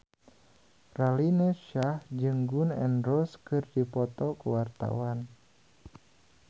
Raline Shah jeung Gun N Roses keur dipoto ku wartawan